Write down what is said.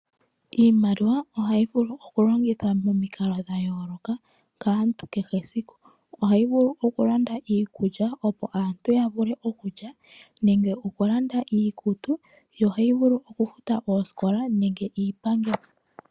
Iimaliwa ohayi vulu okulongithwa momikalo dha yooloka kaantu kehe esiku. Ohayi vulu okulanda iikulya opo aantu ya vule okulya nenge okulanda iikutu, yo ohayi vulu okufuta oosikola nenge iipangelo.